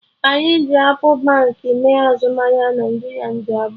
Anyị ji appụ Baankị mee azụmahịa naira nde abụọ